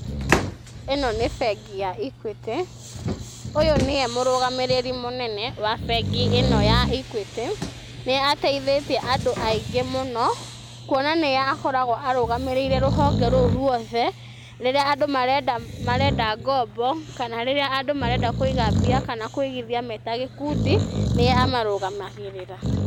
Ĩno nĩ bengi ya Equity, ũyũ nĩwe mũrũgamĩrĩri mũnene wa bengi ĩno ya Equity, nĩ ateithĩtie andũ aingĩ mũno, kuona nĩye akoragwo arugamĩrĩire rũhonge rũu rwothe, rĩrĩa andũ marenda ngombo, kana rĩrĩa andũ marenda kũiga mbia, kana kũigithia meta gĩkundi nĩo marugamagĩrĩra.